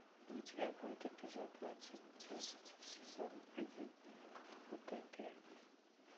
у тебя будет эпизод двадцать десять сезон один утопия